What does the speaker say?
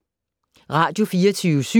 Radio24syv